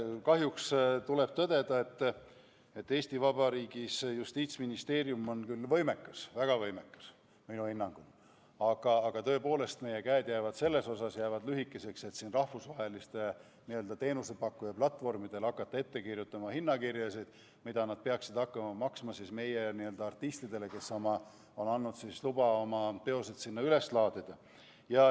Kahjuks tuleb tõdeda, et Eesti Vabariigi Justiitsministeerium on küll võimekas – väga võimekas, minu hinnangul –, aga meie käed jäävad selles mõttes lühikeseks, et meie ei saa tõepoolest hakata rahvusvaheliste platvormide teenusepakkujatele ette kirjutama hinnakirju ega ütlema, kui palju nad peaksid maksma meie artistidele, kes on andnud loa oma teoseid üles laadida.